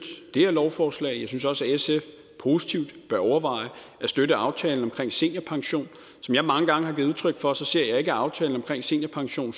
det her lovforslag jeg synes også at sf positivt bør overveje at støtte aftalen omkring seniorpension som jeg mange gange har givet udtryk for ser jeg ikke at aftalen omkring seniorpension